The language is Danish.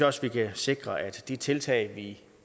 også vi kan sikre at de tiltag vi